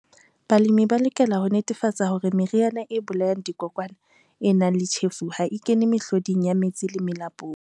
Balemi ba lokela ho netefatsa hore meriana e bolayang dikokwana e nang le tjhefu ha e kene mehloding ya metsi le melapong.